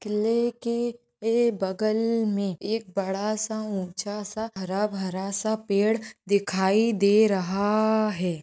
किल्ले की एक बगल में एक बड़ासा ऊंचासा हरा-बरा सा पेड़ दिखाई दे रहा है।